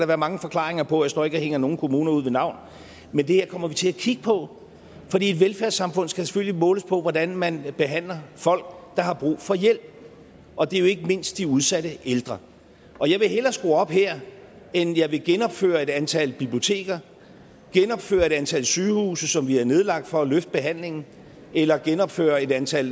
være mange forklaringer på jeg står ikke og hænger nogen kommuner ud ved navn men det her kommer vi til at kigge på fordi et velfærdssamfund skal selvfølgelig måles på hvordan man behandler folk der har brug for hjælp og det er jo ikke mindst de udsatte ældre jeg vil hellere skrue op her end jeg vil genopføre et antal biblioteker genopføre et antal sygehuse som vi har nedlagt for at løfte behandlingen eller genopføre et antal